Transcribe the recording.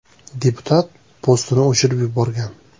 Deputat postini o‘chirib yuborgan.